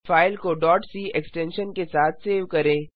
file को c extension के साथ सेव करें